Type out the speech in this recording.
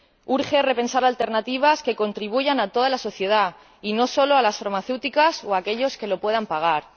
Urge repensar alternativas que ayuden a toda la sociedad y no solo a las farmacéuticas o a aquellos que lo puedan pagar.